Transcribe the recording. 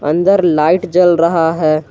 अंदर लाइट जल रहा है।